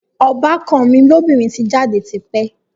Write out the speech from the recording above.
Ọbàkan mi lóbìnrin ti jáde ti pẹ́